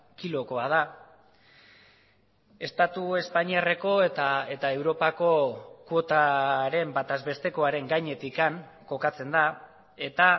kilokoa da estatu espainiarreko eta europako kuotaren bataz bestekoaren gainetik kokatzen da eta